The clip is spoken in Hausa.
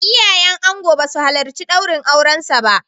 Iyayen angon ba su halarci daurin aurensa ba.